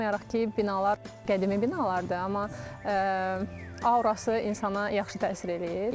Baxmayaraq ki, binalar qədimi binalardır, amma aurası insana yaxşı təsir eləyir.